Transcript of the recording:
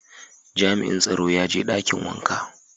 Jami'in tsaron ya je dakin wanka.